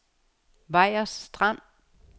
Vejers Strand